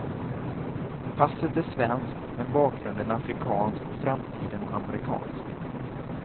Passet är svenskt, men bakgrunden afrikansk och framtiden amerikansk.